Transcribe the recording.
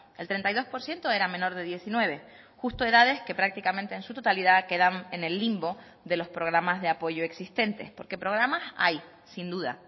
el treinta y dos por ciento era menor de diecinueve justo edades que prácticamente en su totalidad quedan en el limbo de los programas de apoyo existentes porque programas hay sin duda